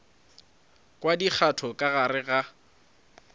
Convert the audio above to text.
kwa dikgato ka gare ga